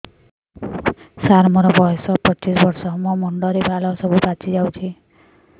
ସାର ମୋର ବୟସ ପଚିଶି ବର୍ଷ ମୋ ମୁଣ୍ଡରେ ବାଳ ସବୁ ପାଚି ଯାଉଛି